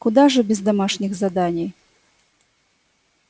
куда же без домашних заданий